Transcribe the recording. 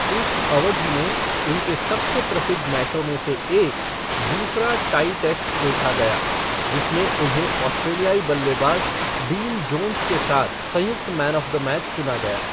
इस अवधि में उनके सबसे प्रसिद्ध मैचों में से एक, दूसरा टाई टेस्ट देखा गया, जिसमें उन्हें ऑस्ट्रेलियाई बल्लेबाज डीन जोन्स के साथ संयुक्त मैन ऑफ़ द मैच चुना गया।